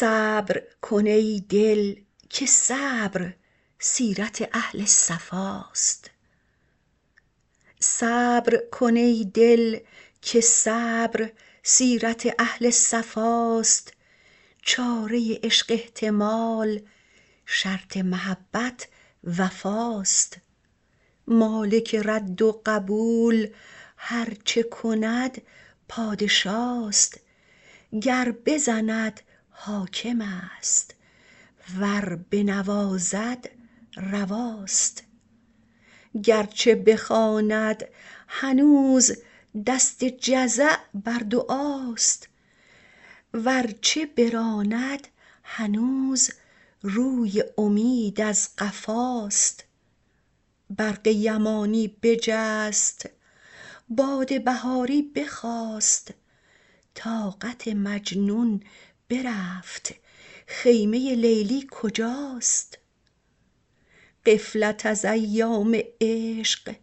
صبر کن ای دل که صبر سیرت اهل صفاست چاره عشق احتمال شرط محبت وفاست مالک رد و قبول هر چه کند پادشاست گر بزند حاکم است ور بنوازد رواست گر چه بخواند هنوز دست جزع بر دعاست ور چه براند هنوز روی امید از قفاست برق یمانی بجست باد بهاری بخاست طاقت مجنون برفت خیمه لیلی کجاست غفلت از ایام عشق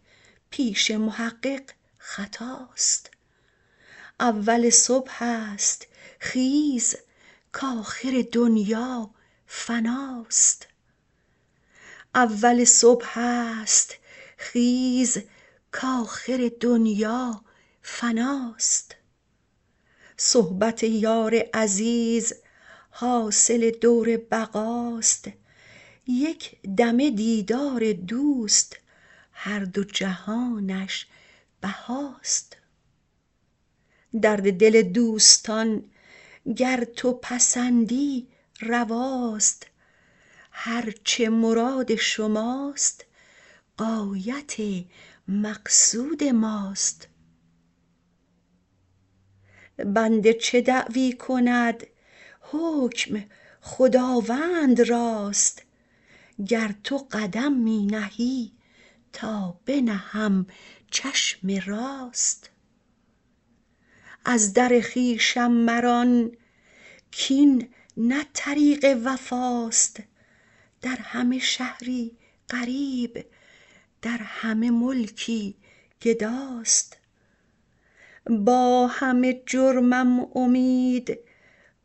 پیش محقق خطاست اول صبح است خیز کآخر دنیا فناست صحبت یار عزیز حاصل دور بقاست یک دمه دیدار دوست هر دو جهانش بهاست درد دل دوستان گر تو پسندی رواست هر چه مراد شماست غایت مقصود ماست بنده چه دعوی کند حکم خداوند راست گر تو قدم می نهی تا بنهم چشم راست از در خویشم مران کاین نه طریق وفاست در همه شهری غریب در همه ملکی گداست با همه جرمم امید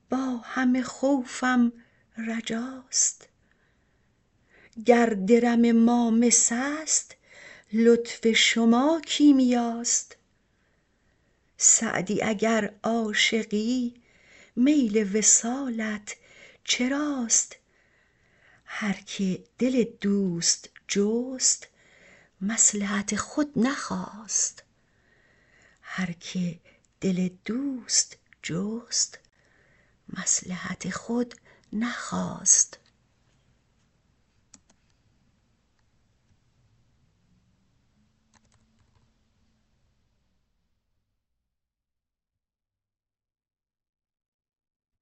با همه خوفم رجاست گر درم ما مس است لطف شما کیمیاست سعدی اگر عاشقی میل وصالت چراست هر که دل دوست جست مصلحت خود نخواست